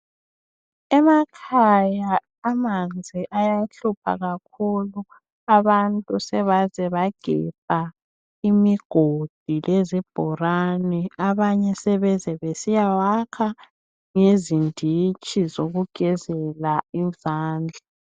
Emakhaya amanzi ayahlupha kakhulu. Abantu sebaze bagebha imigodi lezibholane. Abanye sebeze besiyawakha lezinditshi zokugezela izandla.